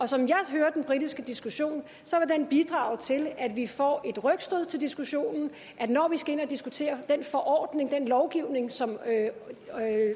som jeg hører den britiske diskussion vil den bidrage til at vi får et rygstød til diskussionen når vi skal ind at diskutere den forordning den lovgivning som